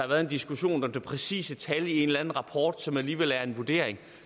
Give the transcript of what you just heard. været en diskussion om det præcise tal i en eller anden rapport som alligevel er en vurdering